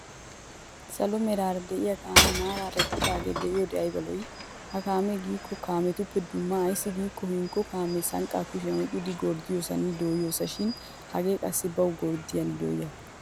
Salo meraara de'iyaa kaamee maraara eqqidaagee be'iyode ayba lo'ii. Ha kaamee giikko kaametuppe dumma ayssi giikko hinkko kaamee sanqqaa kushiyan oyqqidi gorddoossinne dooyoos shin hagee qassi bawu gorddiyaanne dooyiyaagaa.